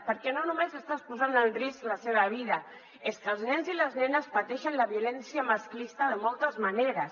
perquè no només estàs posant en risc la seva vida és que els nens i les nenes pateixen la violència masclista de moltes maneres